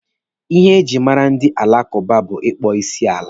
Ihe ejiri mara ndị alakụba bụ ịkpọ isi n'ala.